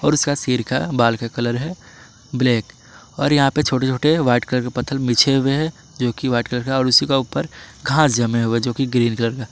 और इसका सिर का बाल का कलर है ब्लैक और यहां पे छोटे छोटे व्हाइट कलर के पत्थर बिछे हुए है जो कि व्हाइट कलर का और उसी का ऊपर घास जमे हुए जो कि ग्रीन कलर का--